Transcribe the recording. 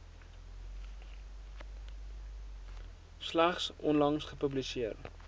slegs onlangs gepubliseer